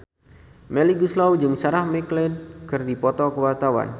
Melly Goeslaw jeung Sarah McLeod keur dipoto ku wartawan